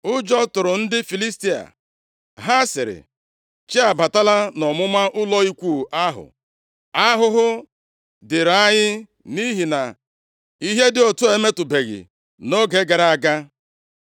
ụjọ tụrụ ndị Filistia. Ha sịrị, “Chi abatala nʼọmụma ụlọ ikwu ahụ. Ahụhụ dịrị anyị nʼihi na ihe dị otu a emetụbeghị nʼoge gara aga.